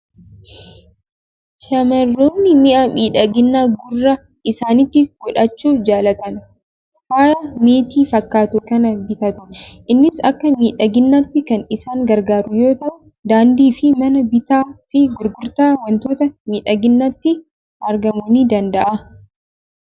Shamarroonni mi'a miidhaginaa gurra isaaniitti godhachuu jaalatan, faaya meetii fakkaatu kana bitatu. Innis akka miidhaginaatti kan isaan gargaaru yoo ta'u, daandii fi mana bittaa fi gurgurtaa waantota miidhaginaatti argamuu ni danda'a.